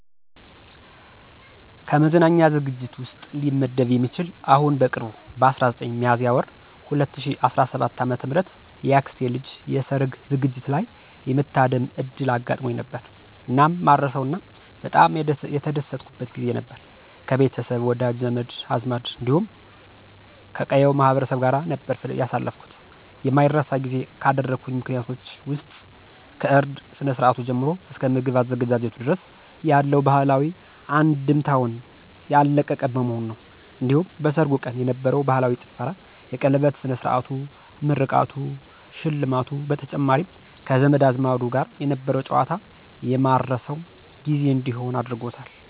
ከመዝናኛ ዝግጅት ውስጥ ሊመደብ የሚችል አሁን በቅርቡ በ19 ሚያዝያ ወር 2017 ዓ.ም የአክስቴ ልጅ የሠርግ ዝግጅት ላይ የመታደም ዕድል አጋጥሞኝ ነበር። እናም ማረሳው እና በጣም የተደሰትኩበት ጊዜ ነበር። ከቤተሰብ፣ ወዳጅ፣ ዘመድ አዝማድ እንዲሁም ከቀዬው ማህበረሰብ ጋር ነበር ያሳለፍኩት። የማይረሳ ጊዜ ካደረጉልኝ ምክንያቶች ውስጥ ከእርድ ስነ-ስርአቱ ጀምሮ እስከ ምግብ አዘገጃጀቱ ድረስ ያለው ባህላዊ አንድምታውን ያለቀቀ በመሆኑ ነው። እንዲሁም በሠርጉ ቀን የነበረው ባህላዊ ጭፈራ፣ የቀለበት ስነ-ስርዓቱ፣ ምርቃቱ፣ ሽልማቱ በተጨማሪም ከዘመድ አዝማዱ ጋር የነበረው ጨዋታ የማረሳው ጊዜ እንዲሆን አድርጎታል።